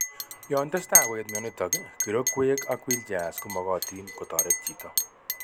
Yon tesetai koet myonitok, kirokwek, ak wheelchairs komogotin kotoret chito